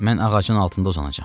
Mən ağacın altında uzanacam.